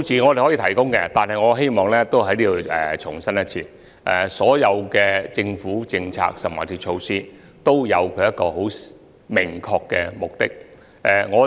我可以提供數字，但我希望在此重申，所有政府政策或措施均有其明確目的。